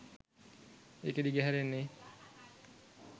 ඒක දිගහැරෙන්නේ